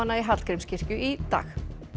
í Hallgrímskirkju í dag